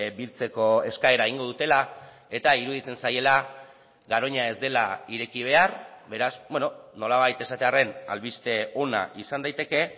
biltzeko eskaera egingo dutela eta iruditzen zaiela garoña ez dela ireki behar beraz nolabait esatearren albiste ona izan daiteke